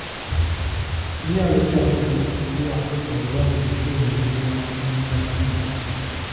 Inyalo chako gi twak kod watni e wi ngima gi mar thieth.